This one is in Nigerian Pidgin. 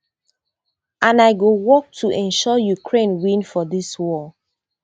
and i go work to ensure ukraine win for dis war